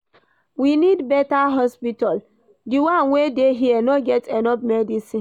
We need beta hospital, di one wey dey here no get enough medicine.